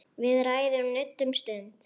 Við ræðum nudd um stund.